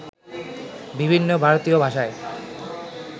বিভিন্ন ভারতীয় ভাষায়